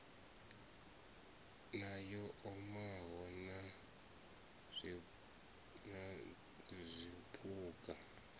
na yo omaho na zwiphuga